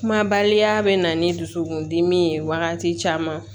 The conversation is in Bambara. Kumabaliya bɛ na ni dusukun dimi ye wagati caman